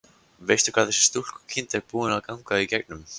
Veistu hvað þessi stúlkukind er búin að ganga í gegnum?